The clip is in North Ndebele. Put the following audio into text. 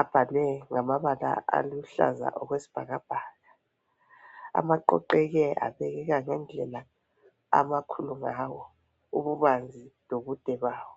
abhalwe ngamabala aluhlaza okwesibhakabhaka. Aqoqeke abekeka ngendlela amakhulu ngawo ububanzi lobude bawo.